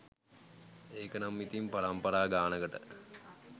ඒකනම් ඉතින් පරම්පරා ගානකට